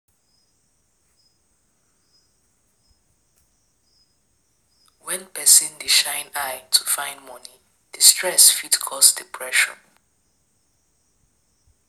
When person dey shine eye to find money di stress fit cause depression